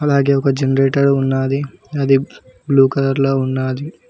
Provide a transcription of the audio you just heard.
అలాగే ఒక జనరేటర్ ఉన్నాది అది బ్లూ కలర్ లో ఉన్నాది.